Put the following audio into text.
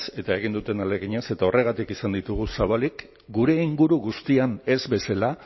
eta egin duten ahaleginaz eta horregatik izan ditugu zabalik gure inguru guztian ez bezala